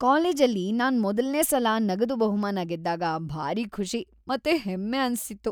ಕಾಲೇಜಲ್ಲಿ ನಾನ್ ಮೊದಲ್ನೇ ಸಲ ನಗದು ಬಹುಮಾನ ಗೆದ್ದಾಗ ಭಾರೀ ಖುಷಿ ಮತ್ತೆ ಹೆಮ್ಮೆ ಅನ್ಸಿತ್ತು.